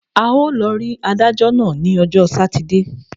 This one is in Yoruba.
A ó lọ rí adájọ́ náà ní ọjọ́ sátidé.